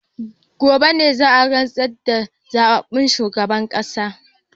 Gobe ne za a rantsar da zababben shugaban kasar